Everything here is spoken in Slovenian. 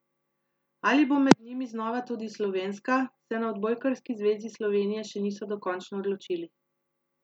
Ali bo med njimi znova tudi slovenska, se na Odbojkarski zvezi Slovenije še niso dokončno odločili.